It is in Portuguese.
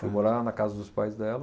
Fui morar na casa dos pais dela.